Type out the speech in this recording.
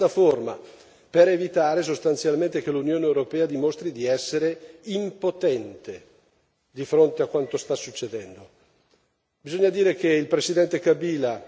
Ci sono alcuni punti che dovrebbero essere definiti in una piattaforma per evitare sostanzialmente che l'Unione europea dimostri di essere impotente di fronte a quanto sta succedendo.